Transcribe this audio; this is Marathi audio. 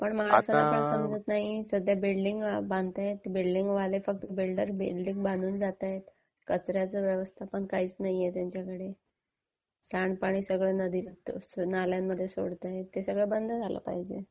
माला एक समजत नाही. सध्या बिल्डिंग बांधतायत, बिल्डिंग बांधून जातायत. कचर् याचं व्यवस्थापन काहीच नाहीये त्यांच्याकडे. सांडपाणी सगळं नदीत नाल्यांमध्ये सोडतायत ते सगळं बंद झालं पाहिजे.